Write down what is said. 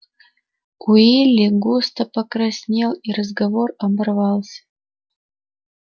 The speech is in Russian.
уилли густо покраснел и разговор оборвался